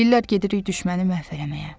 Deyirlər gedirik düşməni məhv eləməyə.